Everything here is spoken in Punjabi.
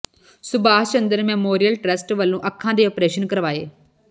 ਸੁਭਾਸ਼ ਚੰਦਰ ਮੈਮੋਰੀਅਲ ਟਰੱਸਟ ਵਲੋਂ ਅੱਖਾਂ ਦੇ ਆਪ੍ਰੇਸ਼ਨ ਕਰਵਾਏ